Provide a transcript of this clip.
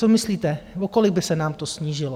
Co myslíte, o kolik by se nám to snížilo?